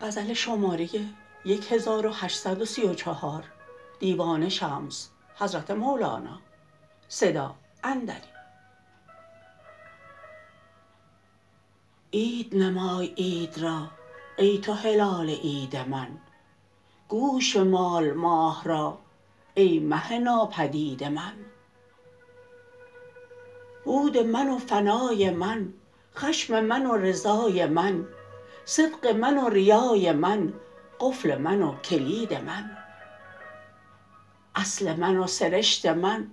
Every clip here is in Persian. عید نمای عید را ای تو هلال عید من گوش بمال ماه را ای مه ناپدید من بود من و فنای من خشم من و رضای من صدق من و ریای من قفل من و کلید من اصل من و سرشت من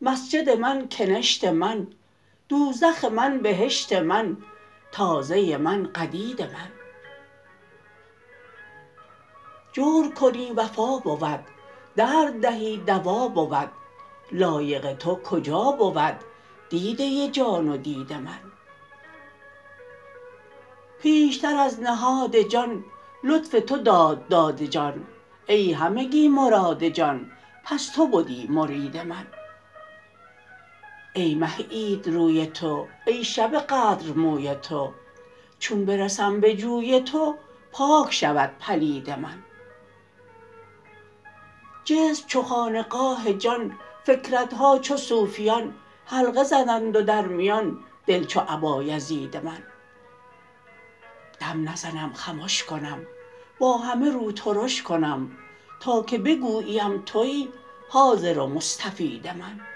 مسجد من کنشت من دوزخ من بهشت من تازه من قدید من جور کنی وفا بود درد دهی دوا بود لایق تو کجا بود دیده جان و دید من پیشتر از نهاد جان لطف تو داد داد جان ای همگی مراد جان پس تو بدی مرید من ای مه عید روی تو ای شب قدر موی تو چون برسم بجوی تو پاک شود پلید من جسم چو خانقاه جان فکرت ها چو صوفیان حلقه زدند و در میان دل چو ابایزید من دم نزم خمش کنم با همه رو ترش کنم تا که بگوییم توی حاضر و مستفید من